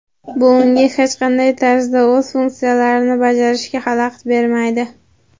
bu unga hech qanday tarzda o‘z funksiyalarini bajarishga xalaqit bermaydi.